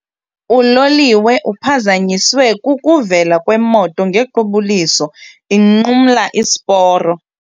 Uloliwe uphazanyiswe kukuvela kwemoto ngequbuliso inqumla isiporo.